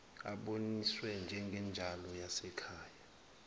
aboniswe njengenzalo yasekhaya